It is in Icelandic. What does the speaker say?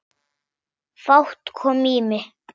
Fát kom á mig.